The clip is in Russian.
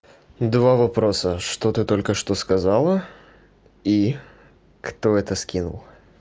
два вопроса что ты только что сказала и кто это скинул